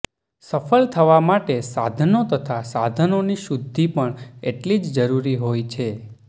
સફ્ળ થવા માટે સાધનો તથા સાધનોની શુદ્ધિ પણ એટલી જ જરૂરી હોય છે